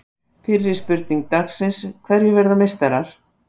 Fyrri spurning dagsins: Hverjir verða meistarar?